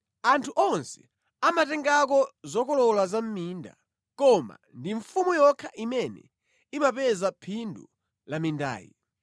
Anthu onse amatengako zokolola za mʼminda: koma ndi mfumu yokha imene imapeza phindu la mindayi.